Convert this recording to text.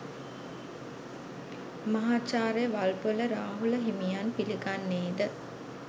මහාචාර්ය වල්පොල රාහුල හිමියන් පිළිගන්නේ ද